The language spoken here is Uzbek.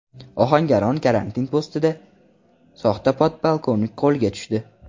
Ohangaron karantin postida soxta podpolkovnik qo‘lga tushdi .